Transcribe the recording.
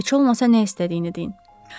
Heç olmasa nə istədiyini deyin.